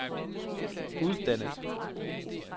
uddannet